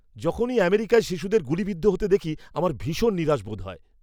যখনই আমেরিকায় শিশুদের গুলিবিদ্ধ হতে দেখি আমার ভীষণ নিরাশ বোধ হয়।